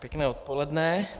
Pěkné odpoledne.